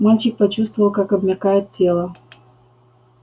мальчик почувствовал как обмякает тело